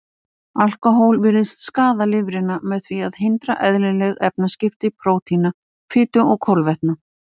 Alkóhól virðist skaða lifrina með því að hindra eðlileg efnaskipti prótína, fitu og kolvetna.